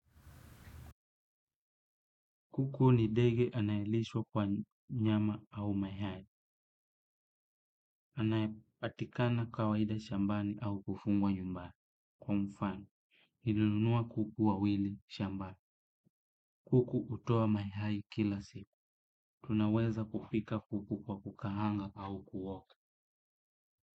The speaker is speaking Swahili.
Kuku ni ndege anayelishwa kwa nyama au mayai. Anayepatikana kawaida shambani au kufugwa nyumbani. Kwa mfoni, nilinunua kuku wawili shambani. Kuku hutoa mayai kila siku. Tunaweza kupika kuku kwa kukaanga au kuoka.